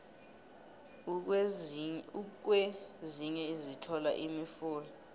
ukwezinye sithola imifula